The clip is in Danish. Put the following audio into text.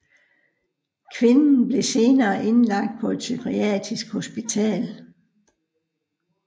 Kvinden blev senere indlagt på et psykiatrisk hospital